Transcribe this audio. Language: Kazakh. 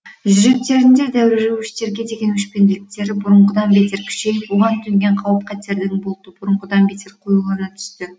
жүректеріндегі дәруішке деген өшпенділіктері бұрынғыдан бетер күшейіп оған төнген қауіп қатердің бұлты бұрынғыдан бетер қоюлана түсті